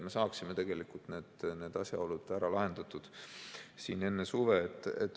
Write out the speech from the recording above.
Me peaksime need asjaolud ära lahendama enne suve.